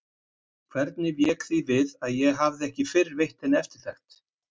Hvernig vék því við að ég hafði ekki fyrr veitt henni eftirtekt?